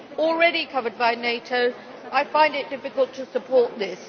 already covered by NATO, I find it difficult to support this.